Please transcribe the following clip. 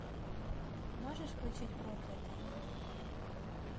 можешь включить проклятые